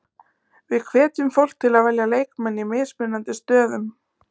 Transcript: Við hvetjum fólk til að velja leikmenn í mismunandi stöðum.